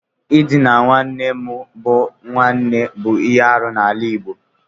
Ịdina nwanne mo but nwanna bụ ihe arụ n'ala Igbo.